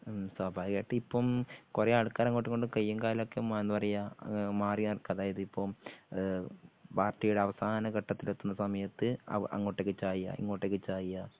ഉം സ്വാഭാവികമായിട്ടും ഇപ്പം കുറെ ആൾക്കാര് അങ്ങോട്ടുമിങ്ങോട്ടും കയ്യും കാലും ഒക്കെ മ എന്താ പറയാ മാറിയ കണക്ക് അതായത് ഇപ്പം ഏഹ് പാർട്ടിയുടെ അവസാന ഘട്ടത്തിലെത്തുന്ന സമയത്ത് ആ അങ്ങോട്ടേക്ക് ചായുക ഇങ്ങോട്ടേക്ക് ചായുക